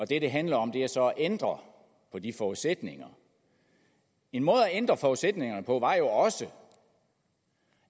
det det handler om er så at ændre på de forudsætninger en måde at ændre forudsætningerne på var jo også